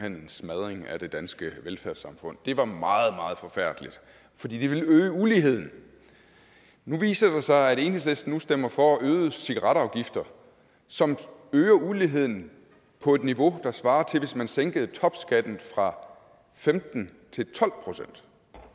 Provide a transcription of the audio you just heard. en smadring af det danske velfærdssamfund det var meget meget forfærdeligt fordi det ville øge uligheden nu viser det sig at enhedslisten nu stemmer for øgede cigaretafgifter som øger uligheden på et niveau der svarer til at man sænkede topskatten fra femten til tolv procent